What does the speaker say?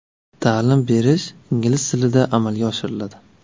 Ta’lim berish ingliz tilida amalga oshiriladi.